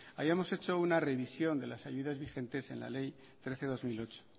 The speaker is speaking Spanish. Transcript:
hayamos hecho una revisión de las salidas vigentes en la ley trece barra dos mil ocho